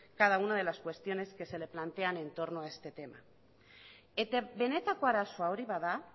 cada una de las cuestiones que se le plantean en torno a este tema eta benetako arazoa hori bada